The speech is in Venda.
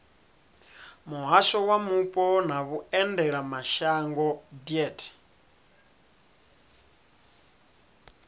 muhasho wa mupo na vhuendelamashango deat